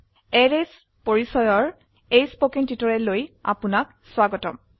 arrays পৰিচয়ৰ এই কথ্য টিউটোৰিয়ালে আপুনাক স্বাগতম